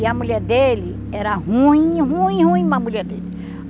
E a mulher dele era ruim, ruim, ruim, uma mulher dele.